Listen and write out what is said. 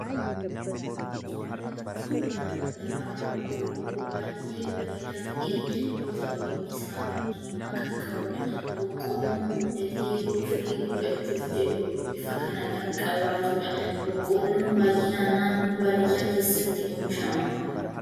Suuraan Kun, suuraa daraaraa boqolloo baayyee bareedaa ta'ee yoo ta'u, innis halluu diimaa kan qabudha. Boqolloon guddatee yeroo firii godhachuuf jedhu bifa kana kan qabaatudha. Boqolloon baayyinaan naannoo baadiyyaa keessatti oomishama.